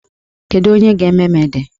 Kedu onye ga-eme m ede?